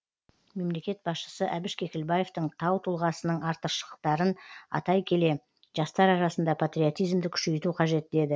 мемлекет басшысы әбіш кекілбаевтың тау тұлғасының артықшылықтарын атай келе жастар арасында патриотизмді күшейту қажет деді